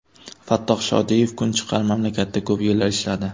Fattoh Shodiyev kunchiqar mamlakatida ko‘p yillar ishladi.